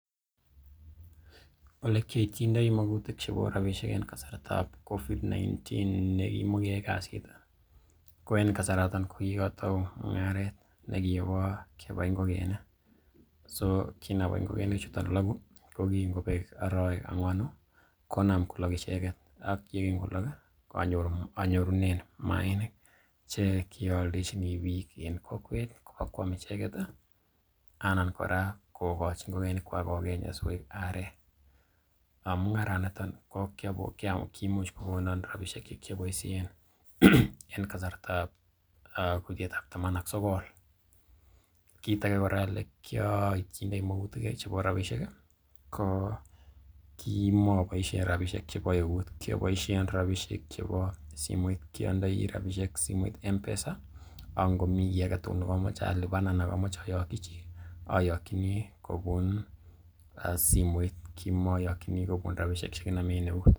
Ole kiioityinodi magutik chebo rabishek en kasartab covid-19 ne kimokeyoe kasit ko en kasaraton ko kigotou mung'aret nekibo ngokenik. So kinabai ngokenikchu logo, ko kingobek arawek angwanu konam kolok icheget ak ye kingolok anyorunen maainik che kioldechini biik en kokwet kobakwam icheget anan kora kogochi ngokenikwak kogeny asikoik arek. Mung'aranito ko kimuch kogonon rabishek che kioboisien en kasartab kutiet ab taman ak sogol kit age kora ole kiioityindoi magutik chebo rabishek ko kimoboisien rabishek chebo eut. Kioboishen rabishek chebo simoit. Ki ondoi rabishek simoit M-Pesa ak ngomi kiy age tugul nekomoche alipan anan komoche ayoki chi, ayokini kobun simoit, kimoyokini kobun rabishek che kinome en eut.